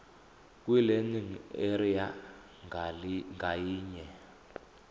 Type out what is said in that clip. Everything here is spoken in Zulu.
kwilearning area ngayinye